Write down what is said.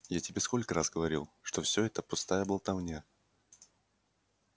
я тебе сколько раз говорил что всё это пустая болтовня